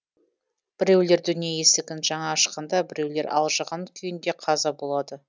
біреулер дүние есігін жаңа ашқанда біреулер алжыған күйінде қаза болады